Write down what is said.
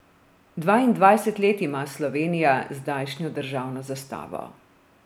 Dvaindvajset let ima Slovenija zdajšnjo državno zastavo.